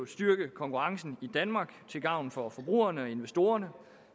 styrke konkurrencen i danmark til gavn for forbrugerne og investorerne